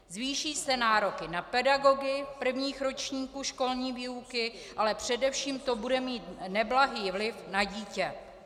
Zvýší se nároky na pedagogy prvních ročníků školní výuky, ale především to bude mít neblahý vliv na dítě.